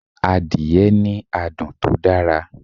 Adìẹ ní adùn tó dára